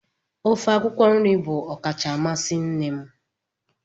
Ofe akwụkwọ nri bụ ọkacha amasị nne m.